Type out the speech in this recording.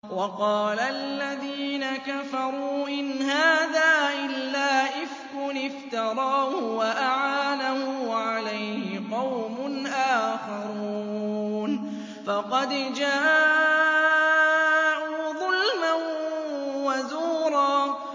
وَقَالَ الَّذِينَ كَفَرُوا إِنْ هَٰذَا إِلَّا إِفْكٌ افْتَرَاهُ وَأَعَانَهُ عَلَيْهِ قَوْمٌ آخَرُونَ ۖ فَقَدْ جَاءُوا ظُلْمًا وَزُورًا